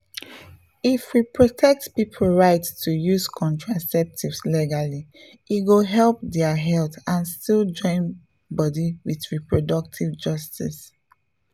if we protect people right to use contraceptives legally e go help their health and still join body with reproductive justice